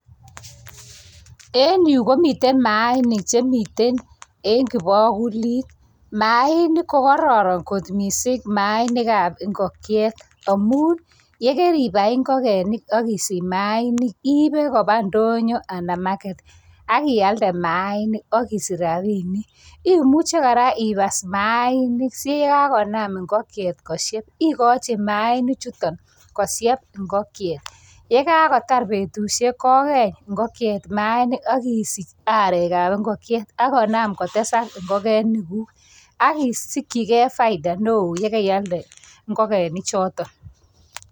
Enyu komiten maainik chemiten en kibakulit. Maainik ko koraran kot mising, maainikab ingokchet amun yekeribai ingokenik ak isich maainik iibe kopa ndonyo ana market ak ialde maainik ak isich rabinik. Imuche kora ipas maainik si yekakonam ingikchet koshep, igochi maainik chutok koshep ingokchek. Yekakotar betushek kokeny ingokchet maainik ak isich arekab ingokchet ak konam kotesak ingikenik ak isikchigei faida neo ye kaialde ingokenik chotok.